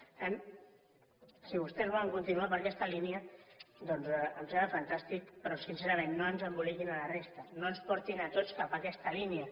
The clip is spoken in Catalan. per tant si vostès volen continuar per aquesta línia doncs em sembla fantàstic però sincerament no ens emboliquin a la resta no ens portin a tots cap a aquesta línia